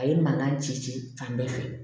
A ye mankan ci ci ci fan bɛɛ fɛ